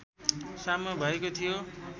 साम्य भएको थियो